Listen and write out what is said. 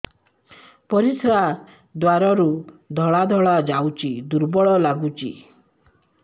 ପରିଶ୍ରା ଦ୍ୱାର ରୁ ଧଳା ଧଳା ଯାଉଚି ଦୁର୍ବଳ ଲାଗୁଚି